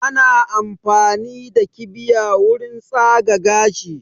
Ana amfani da kibiya wurin tsaga gashi